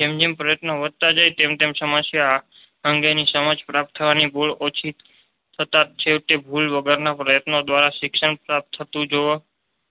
જેમ જેમ પ્રયત્નો વધતા જાય તેમ તેમ સમસ્યા અંગે ની સમજ પ્રાપ્ત થવાની ભૂલ ઓછી થતા છેવટે ભૂલ વગરનો પ્રયત્નો દ્વારા શિક્ષણ પ્રાપ્ત થતું જોવા